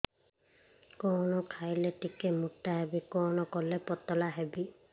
କଣ ଖାଇଲେ ଟିକେ ମୁଟା ହେବି କଣ କଲେ ପତଳା ହେବି